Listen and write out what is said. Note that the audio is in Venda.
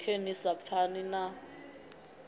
khe ni sa pfani na